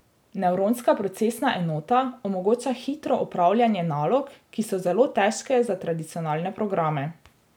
Nevronska procesna enota omogoča hitro opravljanje nalog, ki so zelo težke za tradicionalne programe.